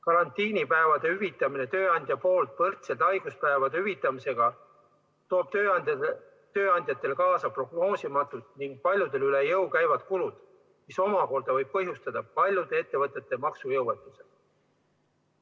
Karantiinipäevade hüvitamine tööandja poolt võrdselt haiguspäevade hüvitamisega toob tööandjatele kaasa prognoosimatud ning paljudele üle jõu käivad kulud, mis omakorda võib põhjustada paljude ettevõtete maksejõuetuse.